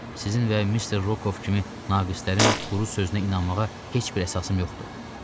Sizin və Mister Rokov kimi naqislərin quru sözünə inanmağa heç bir əsasım yoxdur.